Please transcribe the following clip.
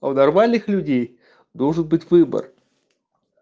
у нормальных людей должен быть выбор